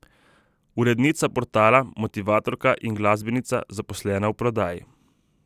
Urednica portala, motivatorka in glasbenica, zaposlena v prodaji.